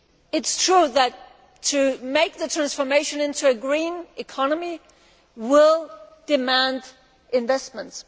It is true that to make the transformation into a green economy will demand investments.